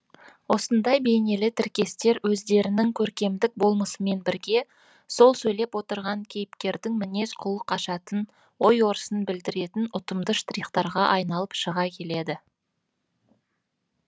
осындай бейнелі тіркестер өздерінің көркемдік болмысымен бірге сол сөйлеп отырған кейіпкердің мінез құлық ашатын ой өрісін білдіретін ұтымды штрихтарға айналып шыға келеді